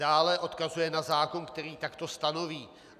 Dále odkazuje na zákon, který takto stanoví.